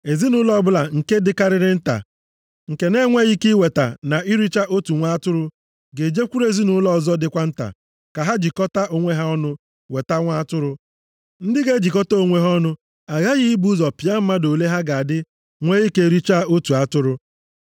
Ezinaụlọ ọbụla nke dịkarịrị nta, nke na-enweghị ike iweta na iricha otu nwa atụrụ, ga-ejekwuru ezinaụlọ ọzọ dịkwa nta, ka ha jikọtaa onwe ha ọnụ weta nwa atụrụ. Ndị ga-ejikọta onwe ha ọnụ aghaghị ibu ụzọ pịa mmadụ ole ha ga-adị nwee ike richaa otu atụrụ.